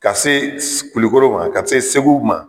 Ka se Kulukoro ma ka se Segu ma.